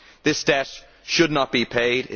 This debt should not be paid